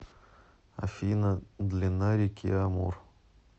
афина длина реки амур